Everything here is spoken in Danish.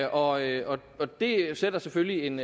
og og det sætter selvfølgelig en